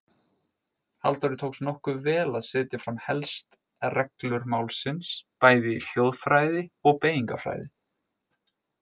Halldóri tókst nokkuð vel að setja fram helst reglur málsins bæði í hljóðfræði og beygingarfræði.